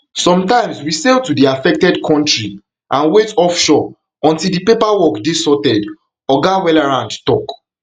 sometimes we sail to di affected kontri and wait offshore until di paperwork dey sorted oga wallerand tok